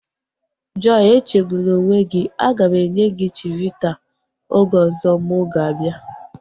Joy echegbuna onwe gị, aga m enye gị chivita oge ọzọ mụ ga-abịa